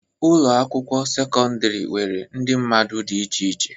Ụlọ akwụkwọ sekọndrị nwere ndị mmadụ dị iche iche.